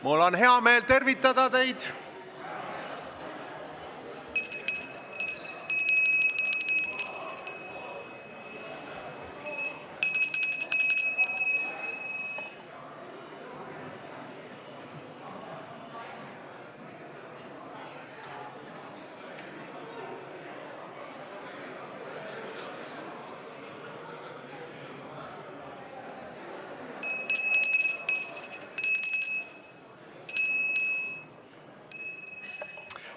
Mul on hea meel teid tervitada!